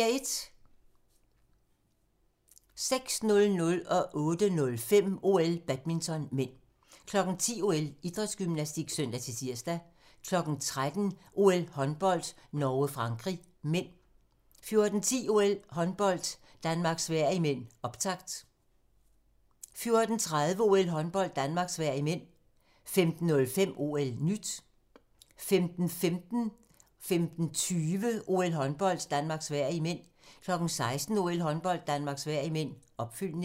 06:00: OL: Badminton (m) 08:05: OL: Badminton (m) 10:00: OL: Idrætsgymnastik (søn-tir) 13:00: OL: Håndbold - Norge-Frankrig (m) 14:10: OL: Håndbold - Danmark-Sverige (m), optakt 14:30: OL: Håndbold - Danmark-Sverige (m) 15:05: OL-nyt 15:15: OL: Håndbold - Danmark-Sverige (m) 15:20: OL: Håndbold - Danmark-Sverige (m) 16:00: OL: Håndbold - Danmark-Sverige (m), opfølgning